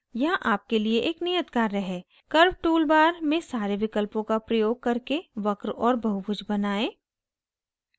यहाँ आपके लिए एक नियत कार्य है curves टूल बार में सारे विकल्पों का प्रयोग करके वक्र और बहुभुज बनाएं